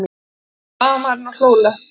spurði blaðamaðurinn og hló léttilega.